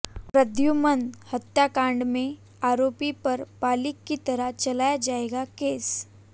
प्रद्दुमन हत्याकांड में आरोपी पर बालिग़ की तरह चलाया जाएगा केस